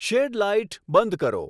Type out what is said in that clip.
shade light બંધ કરો